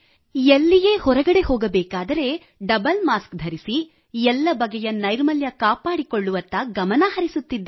ಎಲ್ಲಿಯೇ ಹೊರಗಡೆ ಹೋಗಬೇಕಾದರೆ ಡಬಲ್ ಮಾಸ್ಕ್ ಧರಿಸಿ ಎಲ್ಲ ಬಗೆಯ ನೈರ್ಮಲ್ಯ ಕಾಪಾಡಿಕೊಳ್ಳುವತ್ತ ಗಮನಹರಿಸುತ್ತಿದ್ದೇವೆ